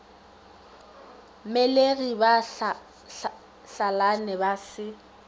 mmelegi ba hlalane ba se